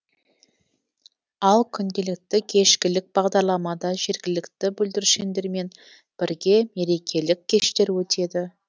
ал күнделікті кешкілік бағдарламада жергілікті бүлдіршіндермен бірге мерекелік кештер өтеді